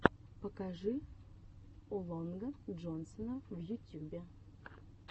покажи о лонга джонсона в ютюбе